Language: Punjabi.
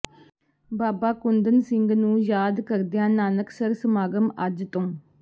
ਬਾਬਾ ਕੁੰਦਨ ਸਿੰਘ ਜੀ ਨੂੰ ਯਾਦ ਕਰਦਿਆਂ ਨਾਨਕਸਰ ਸਮਾਗਮ ਅੱਜ ਤੋਂ